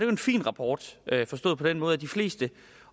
en fin rapport forstået på den måde at de fleste